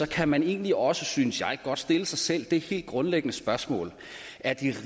kan man egentlig også synes jeg godt stille sig selv det helt grundlæggende spørgsmål er det